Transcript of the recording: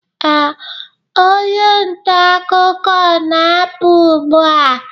ee, onye nta akụkọ na-apụ ugbu a